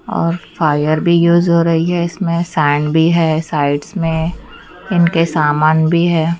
और फायर भी यूज हो रही है इसमे सैंड भी है साइडस में इनके सामान भी है।